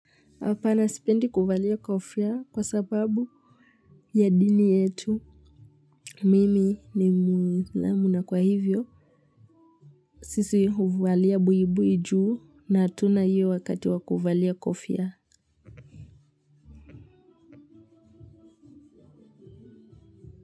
Hapana sipendi kuvalia kofia kwa sababu ya dini yetu. Mimi ni mwisilamu na kwa hivyo. Sisi huvalia buibui juu na hatuna huo wakati wa kuvalia kofia.